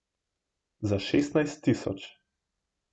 Za šestnajst tisoč.